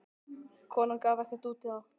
Konan gaf ekkert út á það.